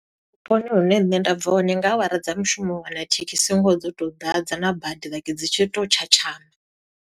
Vhuponi hune nṋe nda bva hone nga awara dza mushumo, u wana thekhisi ngoho dzo to ḓadza na bada, like dzi tshi to tshatshama.